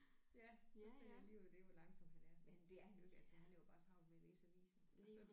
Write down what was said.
Ja så fandt jeg lige ud af det hvor langsom han er men det er han jo ikke altså han har jo bare travlt med at læse avisen altså